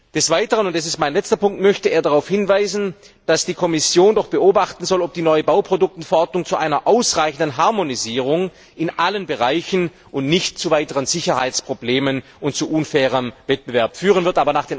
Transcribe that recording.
Des Weiteren möchte er darauf hinweisen, dass die Kommission beobachten soll, ob die neue Bauprodukteverordnung zu einer ausreichenden Harmonisierung in allen Bereichen und nicht zu weiteren Sicherheitsproblemen und zu unfairem Wettbewerb führen wird.